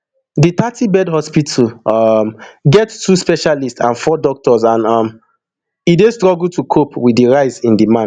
di thirtybed hospital um get two specialist and four doctors and um e dey struggle to cope wit di rise in demand